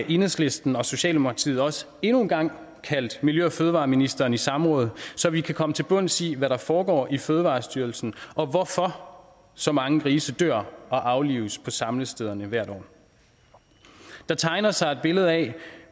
enhedslisten og socialdemokratiet også endnu en gang kaldt miljø og fødevareministeren i samråd så vi kan komme til bunds i hvad der foregår i fødevarestyrelsen og hvorfor så mange grise dør og aflives på samlestederne hvert år der tegner sig et billede af